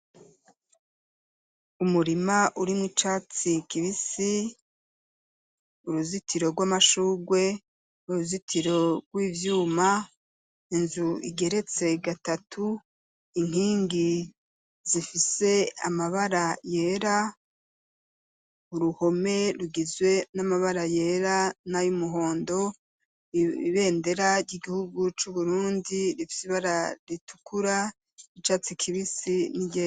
Umurima uri mwo icatsi kibisi uruzitiro rw'amashugwe uruzitiro rw'ivyuma inzu igeretse gatatu inkingi zifise amabara yera uruhome rugizwe n'amabara yera n'ayo umuhondo ibendera ry'igihugu c'uburundi rifyibara ritukura icatsi kibisi ni je.